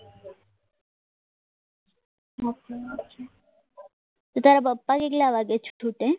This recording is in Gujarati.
તારા પપ્પા કેટલા વાગે છૂટે છ વાગે આછા છ વાગે બરાબર